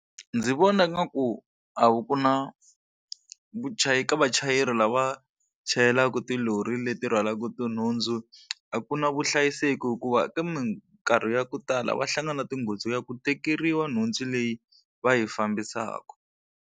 Ndzi vona ngaku a wu ku na vuchayi ka vachayeri lava chayelaka tilori leti rhwalaka tinhundzu, a ku na vuhlayiseki hikuva eka minkarhi ya ku tala va hlangana na tinghozi ta ku tekeriwa nhundzu leyi va yi fambisaka.